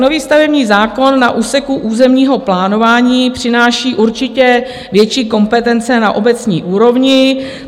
Nový stavební zákon na úseku územního plánování přináší určitě větší kompetence na obecní úrovni.